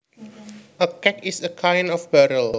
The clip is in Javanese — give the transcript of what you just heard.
A keg is a kind of barrel